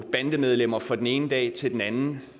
bandemedlemmer fra den ene dag til den anden